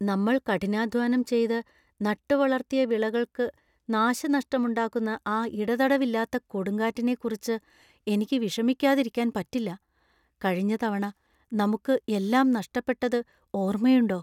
നമ്മൾ കഠിനാധ്വാനം ചെയ്ത് നട്ടുവളർത്തിയ വിളകൾക്ക് നാശനഷ്ടമുണ്ടാക്കുന്ന ആ ഇടതടവില്ലാത്ത കൊടുങ്കാറ്റിനെക്കുറിച്ച് എനിക്ക് വിഷമിക്കാതിരിക്കാൻ പറ്റില്ല. കഴിഞ്ഞ തവണ നമുക്ക് എല്ലാം നഷ്ടപ്പെട്ടത് ഓർമയുണ്ടോ?